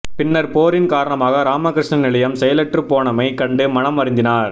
பின்னர் போரின் காரணமாக இராமகிருஷ்ண நிலையம் செயலற்றுப் போனமை கண்டு மனம் வருந்தினார்